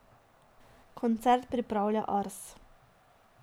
Koncert pripravlja Ars.